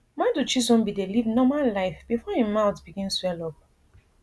madu chisom bin dey live normal life bifor im mouth begin swell up